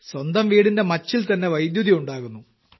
സ്വന്തം വീടിന്റെ മച്ചിൽത്തന്നെ വൈദ്യുതി ഉണ്ടാകുന്നു